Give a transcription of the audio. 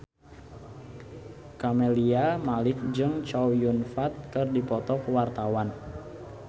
Camelia Malik jeung Chow Yun Fat keur dipoto ku wartawan